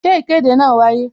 Ṣé ìkéde náà wáyé?